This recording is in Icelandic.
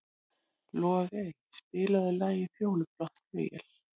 Logey, spilaðu lagið „Fjólublátt flauel“.